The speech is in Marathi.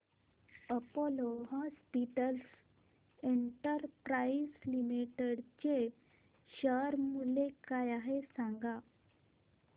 अपोलो हॉस्पिटल्स एंटरप्राइस लिमिटेड चे शेअर मूल्य काय आहे सांगा